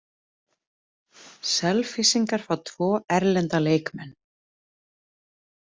Selfyssingar fá tvo erlenda leikmenn